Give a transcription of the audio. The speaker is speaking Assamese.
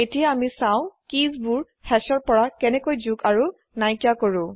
এতিয়া আচাম কিবোৰ hashৰ পৰা কেনেকৈ যোগ আৰু নাইকিয়া কৰে